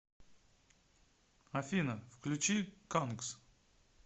афина включи кангс